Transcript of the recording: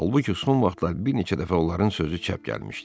Halbuki son vaxtlar bir neçə dəfə onların sözü çəp gəlmişdi.